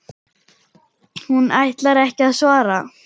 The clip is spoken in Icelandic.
Hún ætlar ekki að svara.